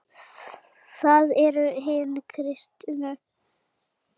Það eru hin kristnu gildi.